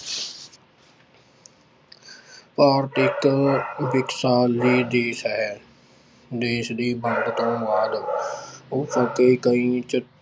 ਭਾਰਤ ਇੱਕ ਦੇਸ ਹੈ, ਦੇਸ ਦੀ ਵੰਡ ਤੋਂ ਬਾਅਦ ਕਈ ਚ~